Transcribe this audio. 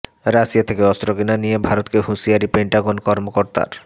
Russia থেকে অস্ত্র কেনা নিয়ে ভারতকে হুঁশিয়ারি পেন্টাগন কর্মকর্তার